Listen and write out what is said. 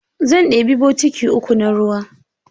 Zan ɗebi botiki uku na ruwa.